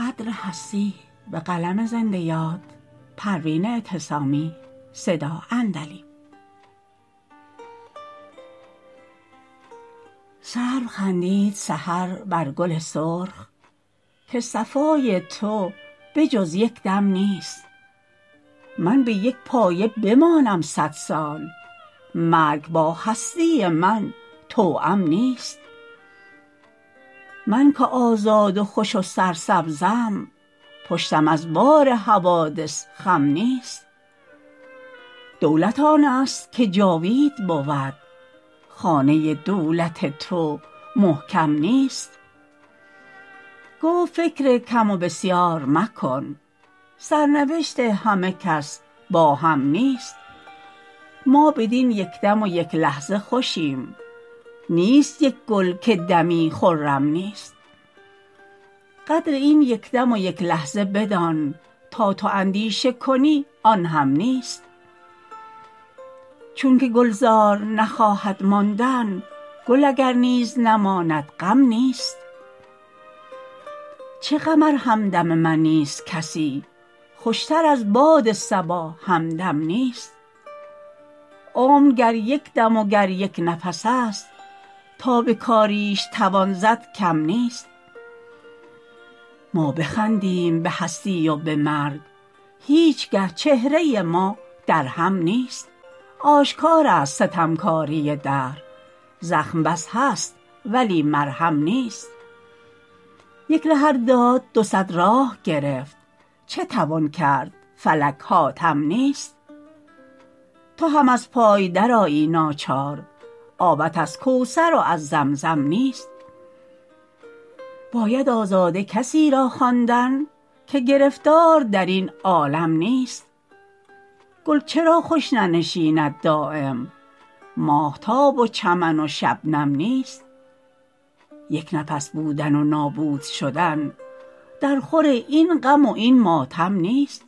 سرو خندید سحر بر گل سرخ که صفای تو به جز یکدم نیست من بیک پایه بمانم صد سال مرگ با هستی من توام نیست من که آزاد و خوش و سرسبزم پشتم از بار حوادث خم نیست دولت آنست که جاوید بود خانه دولت تو محکم نیست گفت فکر کم و بسیار مکن سرنوشت همه کس با هم نیست ما بدین یکدم و یک لحظه خوشیم نیست یک گل که دمی خرم نیست قدر این یکدم و یک لحظه بدان تا تو اندیشه کنی آنهم نیست چونکه گلزار نخواهد ماندن گل اگر نیز نماند غم نیست چه غم ار همدم من نیست کسی خوشتر از باد صبا همدم نیست عمر گر یک دم و گر یک نفس است تا بکاریش توان زد کم نیست ما بخندیم به هستی و به مرگ هیچگه چهره ما درهم نیست آشکار است ستمکاری دهر زخم بس هست ولی مرهم نیست یک ره ار داد دو صد راه گرفت چه توان کرد فلک حاتم نیست تو هم از پای در آیی ناچار آبت از کوثر و از زمزم نیست باید آزاده کسی را خواندن که گرفتار درین عالم نیست گل چرا خوش ننشیند دایم ماهتاب و چمن و شبنم نیست یک نفس بودن و نابود شدن در خور این غم و این ماتم نیست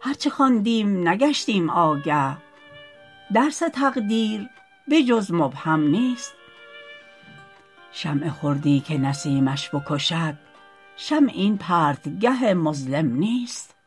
هر چه خواندیم نگشتیم آگه درس تقدیر به جز مبهم نیست شمع خردی که نسیمش بکشد شمع این پرتگه مظلم نیست